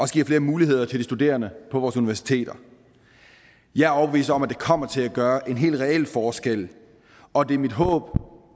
giver flere muligheder til de studerende på vores universiteter jeg er overbevist om at det kommer til at gøre en hel reel forskel og det er mit håb